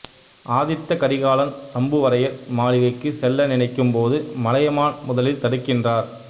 ஆதித்த கரிகாலன் சம்புவரையர் மாளிகைக்குச் செல்ல நினைக்கும் போது மலையமான் முதலில் தடுக்கின்றார்